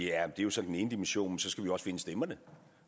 er jo så den ene dimension man så skal vi også finde stemmerne